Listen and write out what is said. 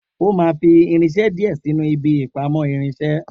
O má fi irinse dìé sinu ibi ìpamọ́ irinsé